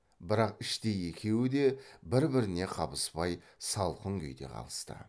бірақ іштей екеуі де бір біріне қабыспай салқын күйде қалысты